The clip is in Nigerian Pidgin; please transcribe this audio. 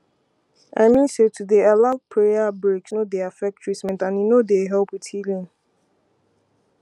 i mean say to dey allow prayer breaks no dey affect treament and e no dey help with healing